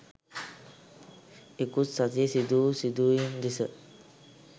ඉකුත් සතියේ සිදුවූ සිදුවීම් දෙස